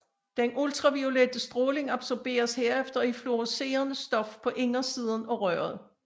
Den ultraviolette stråling absorberes herefter i et fluorescerende stof på indersiden af røret